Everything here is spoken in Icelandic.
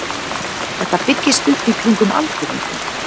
Þetta byggist upp í kringum aldurinn þinn.